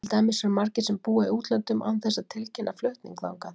Til dæmis eru margir sem búa í útlöndum án þess að tilkynna flutning þangað.